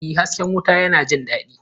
Ee, hasken wuta yana jin daɗi!